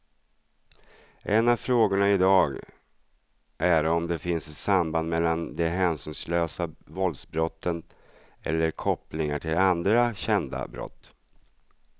En av frågorna i dag är om det finns ett samband mellan de hänsynslösa våldsbrotten eller kopplingar till andra kända brott.